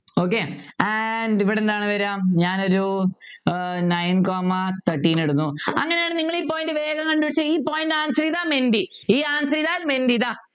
okay and ഇവിടുന്നു ആണ് വരുക ഞാനൊരു ഏർ Nine comma thirteen ഇടുന്നു അങ്ങനെയാണെങ്കിൽ ഈ point വേഗം കണ്ടുപിടിച്ചേ ഈ point answer ചെയ്താൽ മെൻറ്റി ദാ ഈ answer ചെയ്താൽ മെൻറ്റി